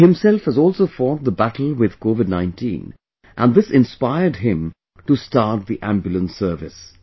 He himself has also fought the battle with COVID19 and this inspired him to start the Ambulance Service